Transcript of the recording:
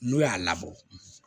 N'o y'a labɔ